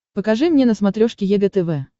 покажи мне на смотрешке егэ тв